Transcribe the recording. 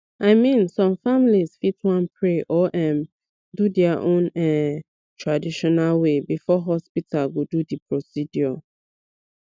i mean some families fit wan pray or um do their own um traditional way before hospital go do the procedure